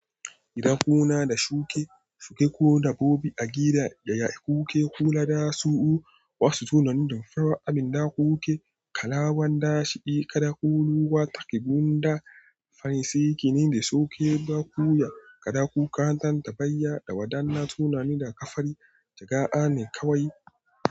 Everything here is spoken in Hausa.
Idan kuna da shuke, shuke ko dabbobi a gida, gaya ku ke kula da su. Wasu sunanin damfarar abin da kuke kalawan dashi, kada ku lura take gunda. Fari, sarki ne da sauke ba ku ya, kada ku karanta tabayya da wadannan sunani da ka fari. Jaga'a ne kawai.